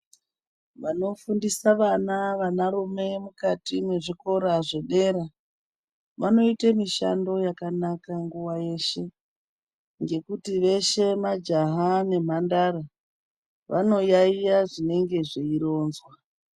Vanofundisa vana vanarume mukati mwezvikora zvedera, vanoite mishando yakanaka nguwa yeshe, ngekuti veshe majaha nemhandara, vanoyaiya zvinenge zveironzwa.